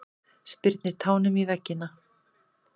Spyrnir tánum í veggina.